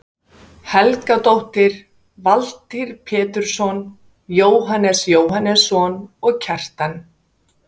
Helgadóttir, Valtýr Pétursson, Jóhannes Jóhannesson og Kjartan